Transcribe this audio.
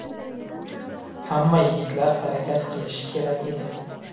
Hamma yigitlar harakat qilishi kerak edi.